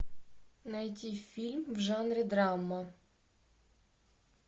найди фильм в жанре драма